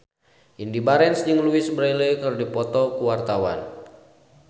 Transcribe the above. Indy Barens jeung Louise Brealey keur dipoto ku wartawan